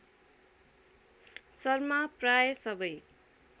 शर्मा प्राय सबै